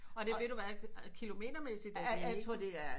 Og ved du hvad kilometer mæssigt er det ikke